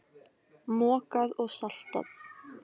Mokað og saltað.